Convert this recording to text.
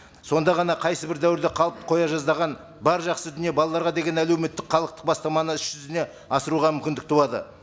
сонда ғана қайсы бір дәуірде қалып қоя жаздаған бар жақсы дүние балаларға деген әлеуметтік халықтық бастаманы іс жүзіне асыруға мүмкіндік туады